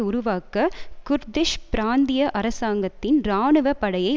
உருவாக்க குர்திஷ் பிராந்திய அரசாங்கத்தின் இராணுவ படையை